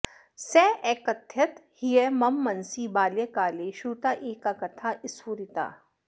सः अकथयत् ह्यः मम मनसि बाल्यकाले श्रुता एका कथा स्फुरिता